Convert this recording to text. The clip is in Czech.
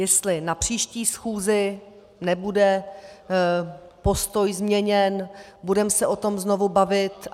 Jestli na příští schůzi nebude postoj změněn, budeme se o tom znovu bavit.